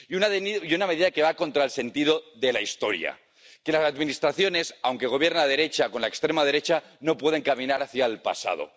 y una medida que va contra el sentido de la historia, porque las Administraciones, aunque gobierne la derecha con la extrema derecha, no pueden caminar hacia el pasado.